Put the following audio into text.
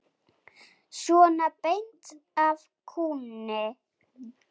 Svona beint af kúnni.